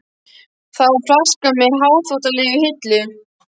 Það var flaska með hárþvottalegi í hillu.